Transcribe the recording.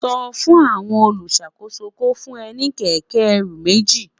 sò fún àwon oluṣakoso kó fún ẹ ní kéké ẹrù méjì